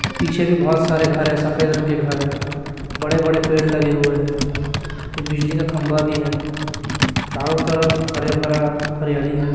पीछे भी बहुत सारे घर है सफेद रंग के घर है बड़े बड़े पेड़ लगे हुए हैं ये बिजली का खंभा भी है चारों तरफ हरा भरा हरियाली है।